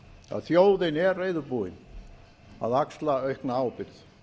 að þjóðin er reiðubúin að axla aukna ábyrgð